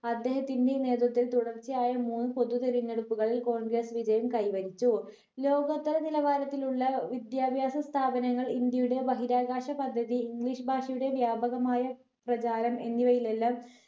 അദ്ദേഹത്തിന് നേതൃത്ത്വം തുടർച്ചയായി മൂന്ന് പൊതുതെരഞ്ഞെടുപ്പുകളിൽ congress വിജയം കൈവരിച്ചു ലോകോത്തര വിലവാരത്തിലുള്ള വിദ്യാഭ്യാസ സ്ഥാപനങ്ങൾ ഇന്ത്യയുടെ ബഹിരാകാശ പദ്ധതി english ഭാഷയുടെ വ്യാപകമായ പ്രചാരം എന്നിവയിലെല്ലാം